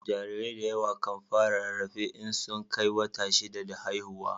Jarirai da yawa kan fara rarrafe in sun Kai wata shida da haihuwa